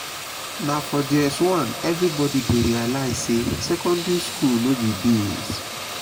na for js1 everybody dey realize say secondary school no be beans.